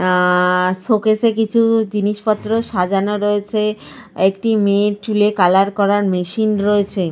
অ্যা showcase -এ কিছু জিনিস পত্র সাজানো রয়েছে। একটি মেয়ের চুলে কালার করার মেশিন রয়েছে।